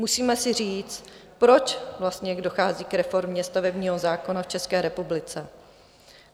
Musíme si říct, proč vlastně dochází k reformě stavebního zákona v České republice.